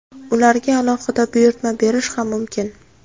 Ularga alohida buyurtma berish ham mumkin.